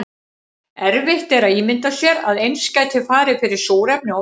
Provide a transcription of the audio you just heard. erfitt er að ímynda sér að eins gæti farið fyrir súrefni og vatni